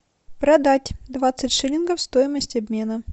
продать двадцать шиллингов стоимость обмена